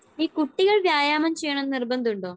ഈ കുട്ടികൾ വ്യായാമം ചെയ്യണമെന്ന് നിർബന്ധമുണ്ടോ?